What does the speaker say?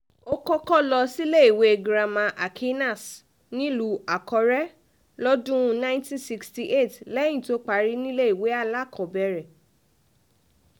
ó kọ́kọ́ lọ síléèwé girama acqinas nílùú àkọ́rẹ́ lọ́dún um nineteen sixty eight lẹ́yìn tó parí níléèwé alákọ̀ọ́bẹ̀rẹ̀